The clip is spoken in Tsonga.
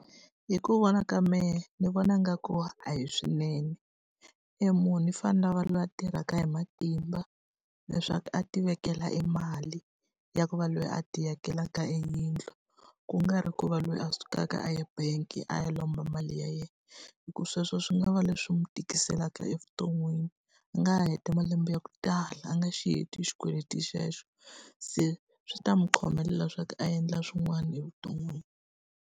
Hi ku vona ka mehe ni vona nga ku a hi swinene. E munhu i fanele a va loyi a tirhaka hi matimba leswaku a ti vekela e mali ya ku va loyi a ti akelaka e yindlu. Ku nga ri ku va loyi a sukaka a ya bangi a ya lomba mali ya yena. Hikuva sweswo swi nga va leswi n'wi tikiselaka evuton'wini, a nga heta malembe ya ku tala a nga xi heti xikweleti xexo. Se swi ta n'wi khomelela swa ku a endla swin'wana evuton'wini.